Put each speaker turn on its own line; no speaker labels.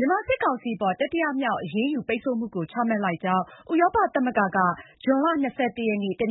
မြန်မာစစ်ကောင်စီအပေါ် တတိယမြောက် အရေးယူပိတ်ဆို့ မှုကိုချမှတ်လိုက်ကြောင်း ဥရောပသမဂ္ဂက ဇွန်လ (၂၁) ရက် တ